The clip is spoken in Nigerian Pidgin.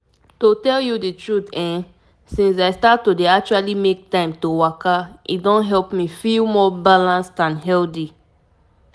true true as i learn more about why walking dey important e make me change me change how i dey do my daily things.